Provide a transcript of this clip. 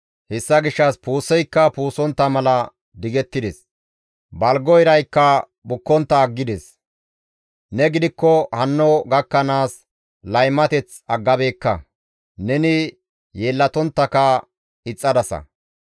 Hessa gishshas puuseykka puusontta mala digettides; balgo iraykka bukkontta aggides; ne gidikko hanno gakkanaas laymateth aggabeekka; neni yeellatonttaka ixxadasa.